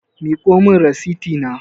Miƙo min rasiti na